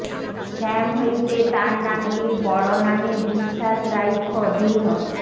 শ্যাম হইতে তার নামটি বড় নামে বিশ্বাস রাইখ দৃঢ়